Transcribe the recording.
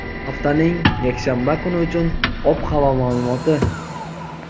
haftaning yakshanba kuni uchun ob-havo ma’lumoti.